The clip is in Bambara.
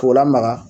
K'o lamaga